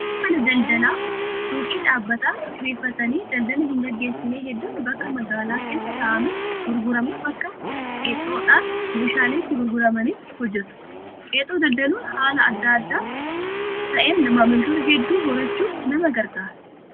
Namoonni mana daldalaa suuqii dhaabbataan kireeffatanii daldala hin gaggeessine hedduun bakka magaalaa keessaa taa'amee gurgurame bakka qexoodhaan meeshaaleen itti gurguramanitti hojjatu. Qexoo daldaluun haala adda ta'een maamiloota hedduu horachuuf nama gargaara.